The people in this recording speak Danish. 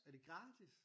Er det gratis!